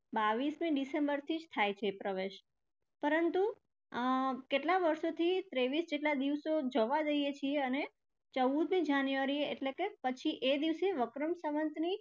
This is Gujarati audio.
બાવીસમી december થી થાય છે પ્રવેશ પરંતુ અર કેટલાં વર્ષોથી ત્રેવીસ જેટલા દિવસો જવા દઈએ છીએ અને ચૌદમી january એ એટલે કે પછી એ દિવસે વિક્રમ સંવતની